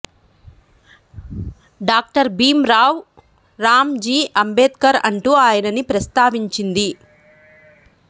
doctor Bhim Rao Ram ji Ambedkar అంటూ ఆయనను ప్రస్తావించింది